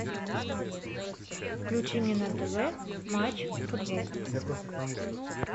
включи мне на тв матч футбол